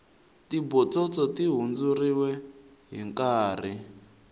tibotsotso ti hundzeriwe hinkarhi